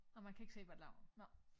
Nå man kan ikke se hvad de laver nå